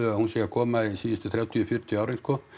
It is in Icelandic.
hún sé að koma síðustu þrjátíu til fjörutíu árin sko